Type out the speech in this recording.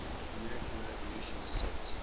american revolution set